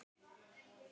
Áslaug sneri sér undan.